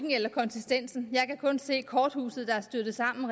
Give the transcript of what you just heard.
eller konsistensen jeg kan kun se korthuset der er styrtet sammen